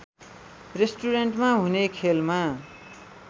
रेस्टुरेन्टमा हुने खेलमा